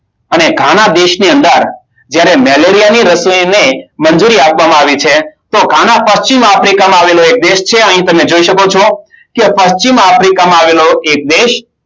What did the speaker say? અને ગાના દેશની અંદર જ્યારે મેલેરિયા ની રસીને મંજૂરી આપવામાં આવી છે. તો ગાના પશ્ચિમ આફ્રિકામાં આવેલો એક દેશ છે. એ અહીં તમે જોઈ શકો છો કે પશ્ચિમ આફ્રિકામાં આવેલો એક દેશ.